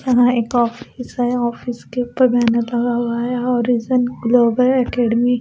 यहां एक ऑफिस है ऑफिस के ऊपर बैनर लगा हुआ है हरिजन ग्लोबल अकेडमी --